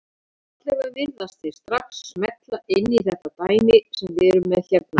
Allavega virðast þeir strax smella inn í þetta dæmi sem við erum með hérna.